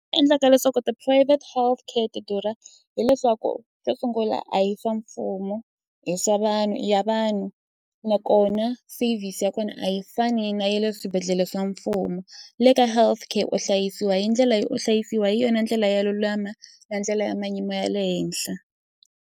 Endlaka leswaku ti-private healthcare ti durha hileswaku xo sungula a hi swa mfumo i swa vanhu i ya vanhu nakona service ya kona a yi fani na ya le swibedhlele swa mfumo le ka healthcare u hlayisiwa hi ndlela yo u hlayisiwa hi yona ndlela yo lulama na ndlela ya mayimo ya le henhla.